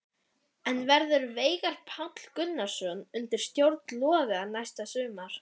En verður Veigar Páll Gunnarsson undir stjórn Loga næsta sumar?